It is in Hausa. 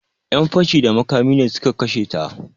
Yan fashi da makami ne su ka kashe ta.